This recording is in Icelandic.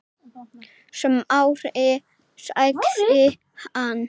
Smári- sagði hann.